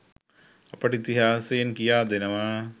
අපට ඉතිහාසයෙන් කියා දෙනවා.